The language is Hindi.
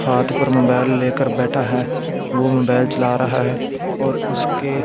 हाथ पर मोबाइल लेकर बैठा है वो मोबाइल चला रहा है और उसके --